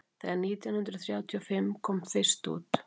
þegar nítján hundrað þrjátíu og fimm kom út fyrsta þýðing hans